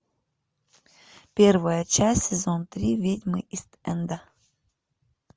первая часть сезон три ведьмы ист энда